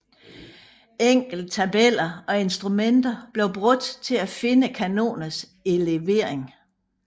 Enkle tabeller og instrumenter blev brugt til at finde kanonernes elevering